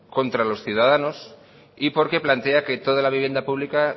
contra los ciudadanos y porque plantea que toda la vivienda pública